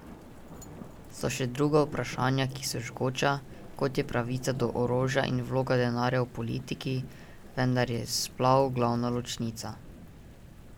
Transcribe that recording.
So še druga vprašanja, ki so žgoča, kot je pravica do orožja in vloga denarja v politiki, vendar pa je splav glavna ločnica.